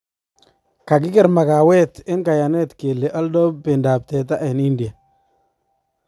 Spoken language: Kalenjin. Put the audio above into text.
Kakiker makaweet en kayanet kele alda bendap teta en India